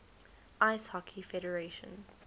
ice hockey federation